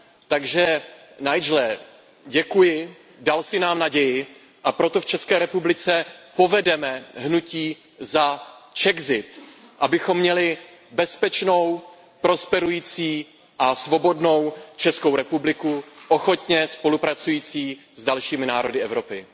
Takže Nigele, děkuji, dal jsi nám naději, a proto v České republice povedeme hnutí za Czexit, abychom měli bezpečnou, prosperující a svobodnou Českou republiku ochotně spolupracující s dalšími národy Evropy.